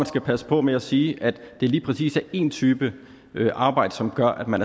skal passe på med at sige at det lige præcis er én type arbejde som gør at man